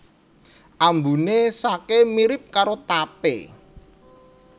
Ambune sake mirip karo tapé